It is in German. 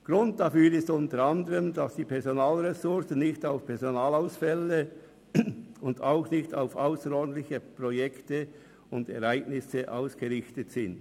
Grund dafür ist unter anderem, dass die Personalressourcen nicht auf Personalausfälle und auch nicht auf ausserordentliche Projekte und Ereignisse ausgerichtet sind.